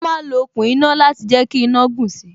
Wọn ma ń lo okùn iná láti jẹ kí iná gùn si